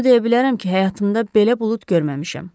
Onu deyə bilərəm ki, həyatımda belə bulud görməmişəm.